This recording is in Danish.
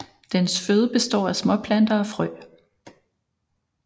Dens føde består af småplanter og frø